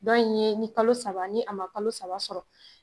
Dɔn in ye ni kalo saba ni a ma kalo saba sɔrɔ